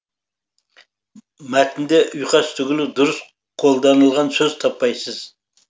мәтінде ұйқас түгілі дұрыс қолданылған сөз таппайсыз